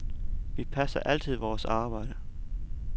Vi passer altid vores arbejde.